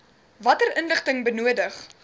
watter inligting benodig